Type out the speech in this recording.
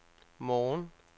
morgen